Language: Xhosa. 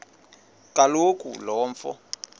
kaloku lo mfo